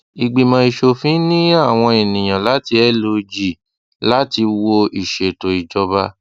ìgbimọ ìsòfin ní àwọn ènìyàn láti log láti wò ìsètò ìjọba